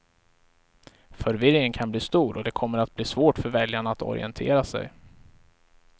Förvirringen kan bli stor och det kommer att bli svårt för väljarna att orientera sig.